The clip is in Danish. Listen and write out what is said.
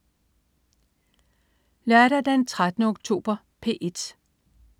Lørdag den 13. oktober - P1: